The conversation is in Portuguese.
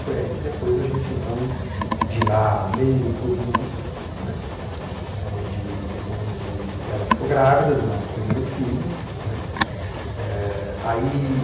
Foi aí que depois a gente, então, de lá, veio para o Rio, né, onde onde ela ficou grávida do nosso primeiro filho, né. Eh aí